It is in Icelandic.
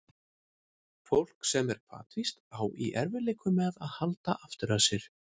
Fólk sem er hvatvíst á í erfiðleikum með að halda aftur af sér.